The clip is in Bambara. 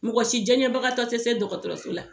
Mɔgɔ si diɲɛbagatɔ te se dɔgɔtɔrɔraso la